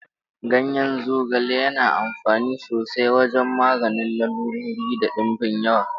Ganyen zogale yana amfani sosai wajen maganin lalurori da dimbin yawa